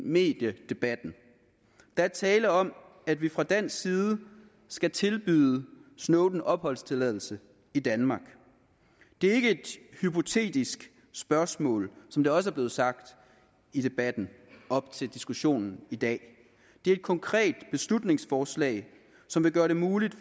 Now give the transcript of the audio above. mediedebatten der er tale om at vi fra dansk side skal tilbyde snowden opholdstilladelse i danmark det er ikke et hypotetisk spørgsmål som det også er blevet sagt i debatten op til diskussionen i dag det er et konkret beslutningsforslag som vil gøre det muligt